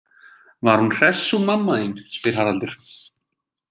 Var hún hress hún mamma þín, spyr Haraldur.